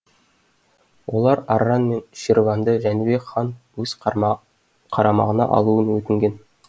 олар арран мен ширванды жәнібек хан өз қарамағына алуын өтінген